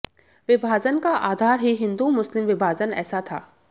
विभाजन का आधार ही हिंदू मुस्लिम विभाजन ऐसा था